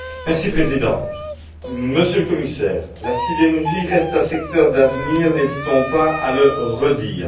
Monsieur le Président, Monsieur le Commissaire, la sidérurgie reste un secteur d'avenir, n'hésitons pas à le redire.